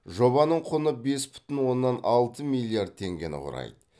жобаның құны бес бүтін оннан алты миллиард теңгені құрайды